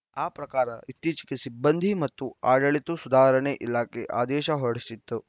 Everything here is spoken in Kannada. ಆ ಪ್ರಕಾರ ಇತ್ತೀಚೆಗೆ ಸಿಬ್ಬಂದಿ ಮತ್ತು ಆಡಳಿತು ಸುಧಾರಣಾ ಇಲಾಖೆ ಆದೇಶ ಹೊರಡಿಸಿತ್ತು